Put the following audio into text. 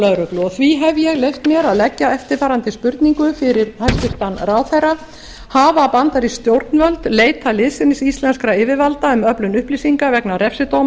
lögreglu og því hef ég leyft mér að leggja eftirfarandi spurning fyrir hæstvirtan ráðherra hafa bandarísk stjórnvöld á síðastliðin fimmtán árum leitað liðsinnis íslenskra yfirvalda um öflun upplýsinga vegna refsidóma